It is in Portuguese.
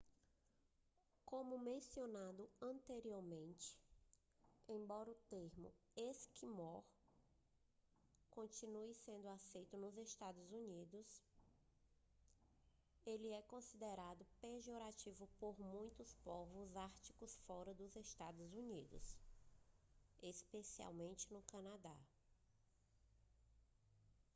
como mencionado anteriormente embora o termo esquimó continue sendo aceito nos eua ele é considerado pejorativo por muitos povos árticos fora dos eua especialmente no canadá